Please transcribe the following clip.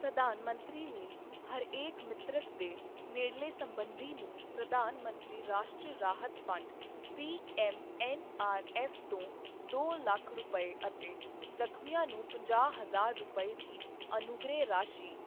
ਪ੍ਰਧਾਨ ਮੰਤਰੀ ਨੇ ਹਰੇਕ ਮ੍ਰਿਤਕ ਦੇ ਨੇੜਲੇ ਸਬੰਧੀ ਨੂੰ ਪ੍ਰਧਾਨ ਮੰਤਰੀ ਰਾਸ਼ਟਰੀ ਰਾਹਤ ਫੰਡ ਪੀਐੱਮਐੱਨਆਰਐੱਫ ਤੋਂ ਦੋ ਲੱਖ ਰੁਪਏ ਅਤੇ ਜ਼ਖ਼ਮੀਆਂ ਨੂੰ ਪੰਜਾਹ ਹਜ਼ਾਰ ਰੁਪਏ ਦੀ ਅਨੁਗ੍ਰਹਿ ਰਾਸ਼ੀ